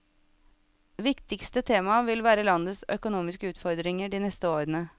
Viktigste tema vil være landets økonomiske utfordringer de neste årene.